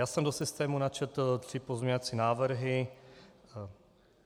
Já jsem do systému načetl tři pozměňovací návrhy.